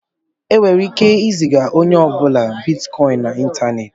E nwere ike ị ziga onye ọ bụla bitikọin n'Ịntaneti.